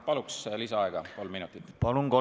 Palun lisaaega kolm minutit!